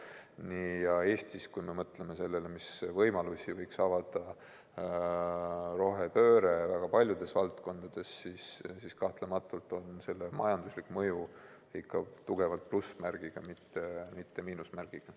Kui me mõtleme Eesti puhul sellele, milliseid võimalusi võiks rohepööre avada väga paljudes valdkondades, siis kahtlemata on selle majanduslik mõju ikka tugevalt plussmärgiga, mitte miinusmärgiga.